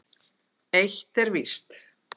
Eitt er víst.